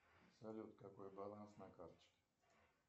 салют какой баланс на карточке